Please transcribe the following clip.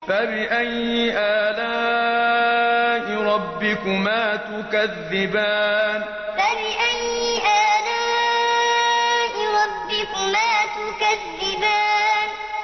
فَبِأَيِّ آلَاءِ رَبِّكُمَا تُكَذِّبَانِ فَبِأَيِّ آلَاءِ رَبِّكُمَا تُكَذِّبَانِ